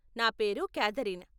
నా పేరు క్యాథరీన్.